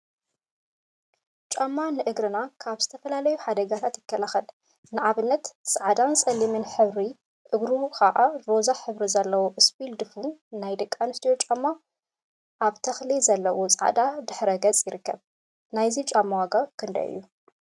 ጫማ ጫማ ንእግርና ካብ ዝተፈላለዩ ሓደጋታት ይከላከል፡፡ ንአብነት ፃዕዳን ፀሊምን ሕብሪ እግሩ ከዓ ሮዛ ሕብሪ ዘለዎ እስፒል ድፉን ናይ ደቂ አንስትዮ ጫማ አብ ተክሊ ዘለዎን ፃዕዳ ድሕረ ገፅን ይርከብ፡፡ ናይዚ ጫማ ዋጋ ክንደይ እዩ?